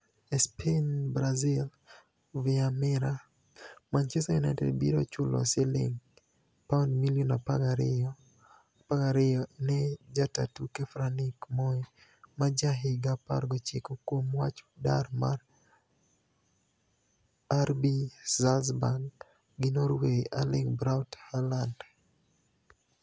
(ESPni Brasil, via Mirror) Manichester Uniited biro chulo silinig £12m/milioni 12 ni e jata tuke Franick Moe ma ja higa 19 kuom wach dar mar RB Saalzburg gi norway Erlinig Braut Haalanid.